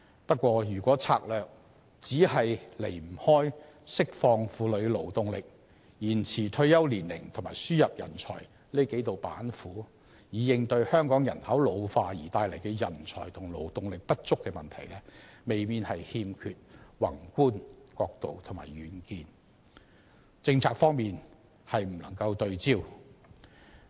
不過，如果策略離不開釋放婦女勞動力、延遲退休年齡及輸入人才這幾道板斧，以應對香港人口老化帶來的人才和勞動力不足問題，未免欠缺宏觀角度及遠見，政策方面亦未能對焦。